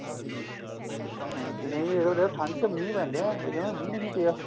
ਹਾਂ ਦਿਨੇ ਇਹ ਹੁੰਦਾ ਠੰਡ ਚ ਮੀਹ ਪੈਂਦੇ ਐ ਇਸ ਵਾਰ ਜਮਾ ਮੀਹ ਹੀ ਨਹੀਂ ਪਿਆ